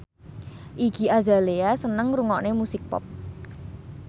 Iggy Azalea seneng ngrungokne musik pop